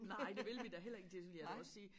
Nej det vil vi da heller ikke det vil jeg da også sige